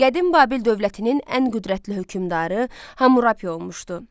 Qədim Babil dövlətinin ən qüvvətli hökmdarı Hammurapi olmuşdu.